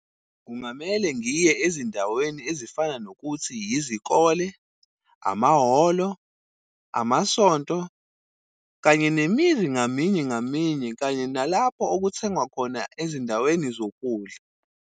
Kungamele ngiye ezindaweni ezifana nokuthi izikole, amahholo, amasonto kanye nemizi ngaminye ngaminye, kanye nalapho okuthengwa khona ezindaweni zokudla.